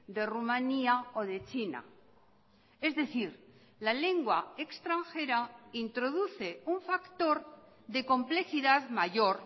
de rumania o de china es decir la lengua extranjera introduce un factor de complejidad mayor